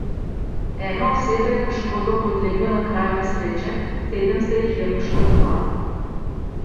Ena oseba je poškodbam podlegla na kraju nesreče, sedem se jih je poškodovalo.